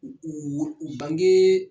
U u u bange